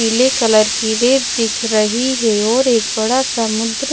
पीले कलर की रेत दिख रही है और एक बड़ा समुद्र--